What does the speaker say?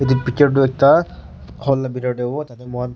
etu picture tu ekta hall laga bethor te hobo tar te moi khan--